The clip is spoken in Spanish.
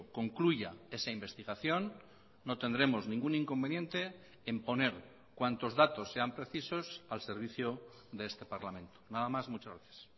concluya esa investigación no tendremos ningún inconveniente en poner cuantos datos sean precisos al servicio de este parlamento nada más muchas gracias